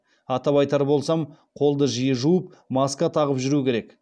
атап айтар болсам қолды жиі жуып маска тағып жүру керек